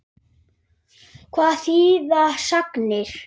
Hvað þýða sagnir?